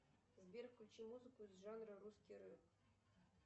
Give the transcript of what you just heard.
сбер включи музыку из жанра русский рэп